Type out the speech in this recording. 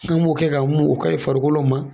An b'o kɛ k'an mun u ka ɲi farikolo ma.